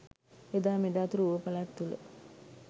එදා මෙදා තුර ඌව පළාත තුළ